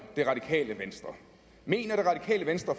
det radikale venstre mener det radikale venstre